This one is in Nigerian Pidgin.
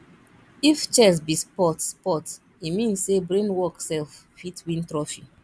if chess be sport sport e mean say brain work self fit win trophy